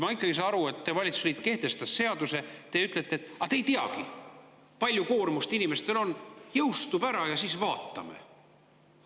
Ma ikka ei saa aru sellest, et teie valitsusliit kehtestas seaduse, aga te ütlete, et te ei teagi, kui suur koormus inimestel on, jõustub ära ja siis vaatame.